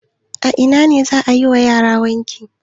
A ina ne za a yi wa yara wanki?